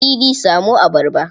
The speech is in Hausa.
Idi samo abarba.